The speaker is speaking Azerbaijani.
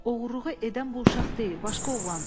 Oğurluğu edən bu uşaq deyil, başqa oğlandır.